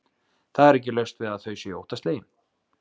Það er ekki laust við að þau séu óttaslegin.